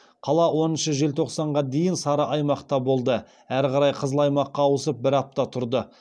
қала оныншы желтоқсанға дейін сары аймақта болды әрі қарай қызыл аймаққа ауысып бір апта тұрды